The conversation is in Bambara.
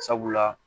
Sabula